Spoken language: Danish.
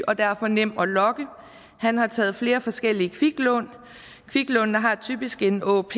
og derfor nem at lokke han har taget flere forskellige kviklån kviklånene har typisk en åop